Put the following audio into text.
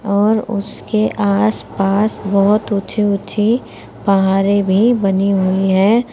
और उसके आस पास बोहोत ऊंची ऊंची पहारे भी बनी हुई हैं।